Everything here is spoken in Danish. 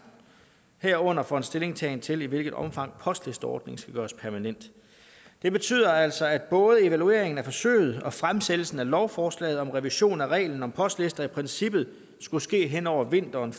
herunder for en stillingtagen til i hvilket omfang postlisteordningen skal gøres permanent det betyder altså at både evalueringen af forsøget og fremsættelsen af lovforslaget om revision af reglen om postlister i princippet skulle ske hen over vinteren